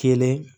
Kelen